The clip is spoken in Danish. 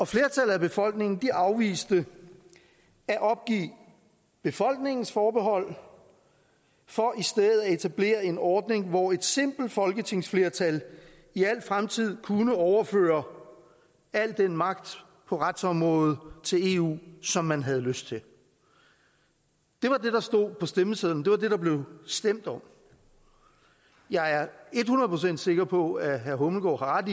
flertallet af befolkningen afviste at opgive befolkningens forbehold for i stedet at etablere en ordning hvor et simpelt folketingsflertal i al fremtid kunne overføre al den magt på retsområdet til eu som man havde lyst til det var det der stod på stemmesedlen det var det der blev stemt om jeg er ethundrede procent sikker på at herre hummelgaard